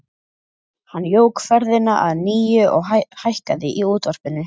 Hann jók ferðina að nýju og hækkaði í útvarpinu.